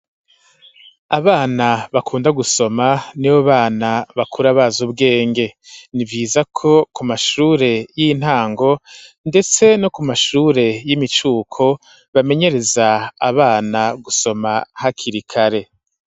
Abana bakunda gusoma ni bo bana bakura baza ubwenge ni viza ko ku mashure y'intango, ndetse no ku mashure y'imicuko bamenyereza abana gusoma hakirikare.